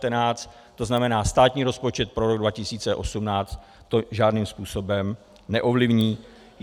To znamená, státní rozpočet pro rok 2018 to žádným způsobem neovlivní.